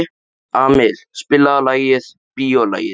Amil, spilaðu lagið „Bíólagið“.